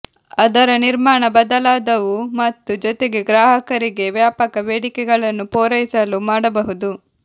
ಅದರ ನಿರ್ಮಾಣ ಬದಲಾದವು ಮತ್ತು ಜೊತೆಗೆ ಗ್ರಾಹಕರಿಗೆ ವ್ಯಾಪಕ ಬೇಡಿಕೆಗಳನ್ನು ಪೂರೈಸಲು ಮಾಡಬಹುದು